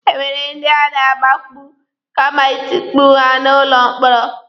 E nwere ndi a na-agbagbu kama itukpu ha n'ụlọ mkpọrọ.